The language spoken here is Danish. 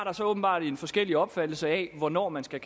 åbenbart har en forskellig opfattelse af hvornår man skal